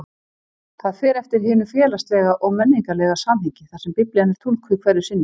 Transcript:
Það fer eftir hinu félagslega og menningarlega samhengi þar sem Biblían er túlkuð hverju sinni.